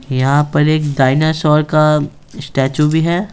यहाँ पर एक डायनासोर का अ स्टैचू भी है।